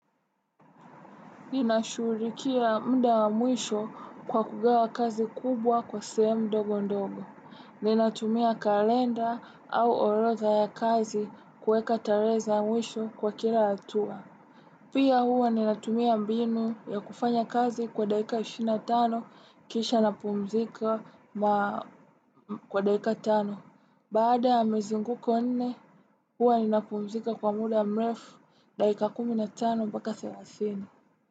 Ninashughulikia muda wa mwisho kwa kugawa kazi kubwa kwa sehemu mdogo ndogo. Ninatumia kalenda au orodhaa ya kazi kuweka tarehe za mwisho kwa kila hatua. Pia huwa ninatumia mbinu ya kufanya kazi kwa dakika 25 kisha napumzika kwa daika tano. Baada ya mizinguko nne huwa ninapumzika kwa muda mrefu daika 15 mpaka 30.